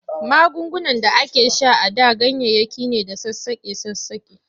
Magungunan da ake sha a da ganyayyaki ne da sassaƙe-sassaƙe.